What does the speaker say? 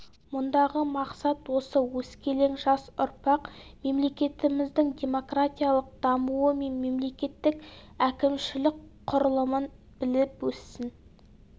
мұндағы мақсат осы өскелең жас ұрпақ мемлекетіміздің демократиялық дамуы мен мемлекеттік әкімшілік құрылымын біліп өссін